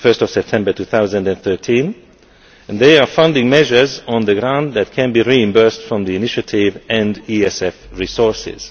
1 September 2013, and they are funding measures on the ground that can be reimbursed from the initiative and ESF resources.